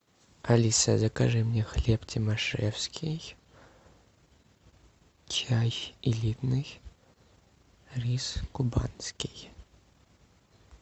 алиса закажи мне хлеб тимашевский чай элитный рис кубанский